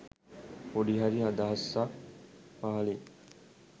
පොඩි හරි අදහසක් පහලින්